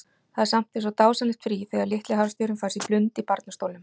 Það er samt eins og dásamlegt frí þegar litli harðstjórinn fær sér blund í barnastólnum.